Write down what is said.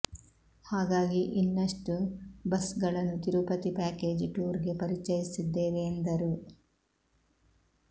ಹಾಗಾಗಿ ಇನ್ನಷ್ಟು ಬಸ್ ಗಳನ್ನು ತಿರುಪತಿ ಪ್ಯಾಕೇಜ್ ಟೂರ್ಗೆ ಪರಿಚಯಿಸುತ್ತಿದ್ದೇವೆ ಎಂದರು